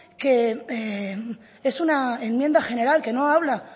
que es una enmienda general que no habla